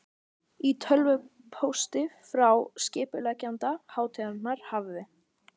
Í tölvupósti frá skipuleggjanda hátíðarinnar hafði